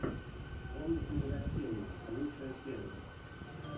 комнатные растения лучшая серия